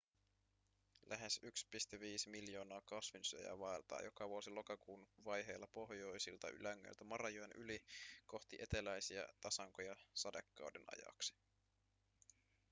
lähes 1,5 miljoonaa kasvinsyöjää vaeltaa joka vuosi lokakuun vaiheilla pohjoisilta ylängöiltä marajoen yli ‎kohti eteläisiä tasankoja sadekauden ajaksi.‎